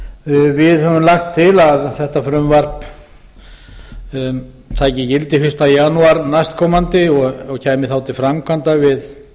skattdæmið við höfum lagt til að þetta frumvarp taki gildi fyrsta jan næstkomandi og kæmi þá til framkvæmda við